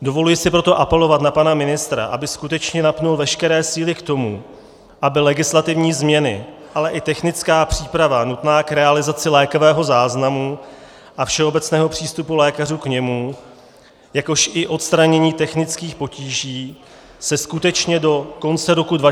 Dovoluji si proto apelovat na pana ministra, aby skutečně napnul veškeré síly k tomu, aby legislativní změny, ale i technická příprava nutná k realizaci lékového záznamu a všeobecného přístupu lékařů k němu, jakož i odstranění technických potíží se skutečně do konce roku 2018 stihly.